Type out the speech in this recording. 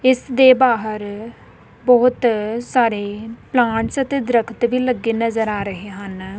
ਇਸ ਦੇ ਬਾਹਰ ਬਹੁਤ ਸਾਰੇ ਪਲਾਂਟਸ ਅਤੇ ਦਰੱਖਤ ਵੀ ਲੱਗੇ ਨਜ਼ਰ ਆ ਰਹੇ ਹਨ।